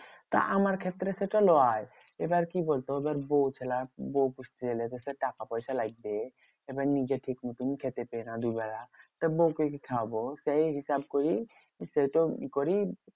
তা আমার ক্ষেত্রে সেটা লয়। এবার কি বলতো? এবার বৌ খেলা বৌ পুষতে গেলে তো সে টাকা পয়সা তো লাগবে। এবার নিজে ঠিক মতন খেতে পেয়ে না দুবেলা। তা বৌকে কি খাওয়াবো? করি সেতো ই করি